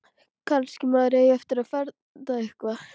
Kannski maður eigi eftir að feðra eitthvað.